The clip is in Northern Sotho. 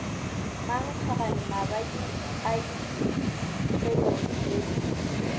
mankgagane mabadi a keliod go